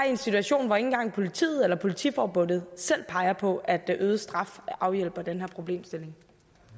en situationen hvor ikke engang politiet eller politiforbundet selv peger på at øget straf afhjælper den her problemstilling